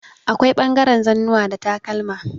Akwai ɓangaren zannuwa da takalma.